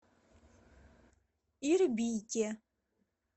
ирбите